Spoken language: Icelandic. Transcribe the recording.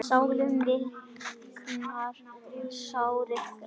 Sálin viknar, sárið grær.